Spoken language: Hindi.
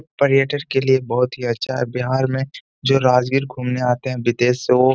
पर्यटर {पर्यटन के लिए ये बोहुत ही अच्छा है। बिहार में जो राजगीर घूमने आते हैं विदेश से वो --}